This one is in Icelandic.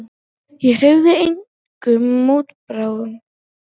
Ég hreyfði engum mótbárum.